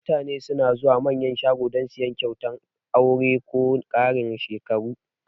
Mutane suna zuwa Manyan shago dan siyan kyautan aure ko na karin shekaru